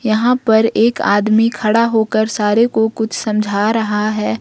यहां पर एक आदमी खड़ा होकर सारे को कुछ समझा रहा है।